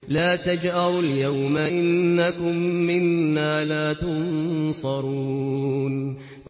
لَا تَجْأَرُوا الْيَوْمَ ۖ إِنَّكُم مِّنَّا لَا تُنصَرُونَ